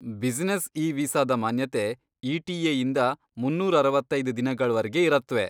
Business e ವೀಸಾದ ಮಾನ್ಯತೆ ETA ಇಂದ ಮುನ್ನೂರ್ ಅರವತ್ತೈದ್ ದಿನಗಳವರ್ಗೆ ಇರತ್ವೆ.